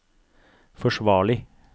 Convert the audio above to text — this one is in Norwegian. forsvarlig